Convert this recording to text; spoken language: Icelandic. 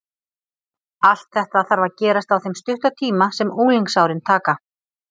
Allt þetta þarf að gerast á þeim stutta tíma sem unglingsárin taka.